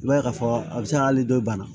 I b'a ye k'a fɔ a bɛ se ka hali dɔ in bana